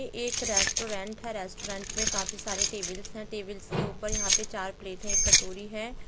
एक रेस्टोरेंट है। रेस्टोरेंट मे काफी सारे टेबल्स है। टेबल्स के ऊपर यहाँ पर चार प्लेट है। एक कटोरी है।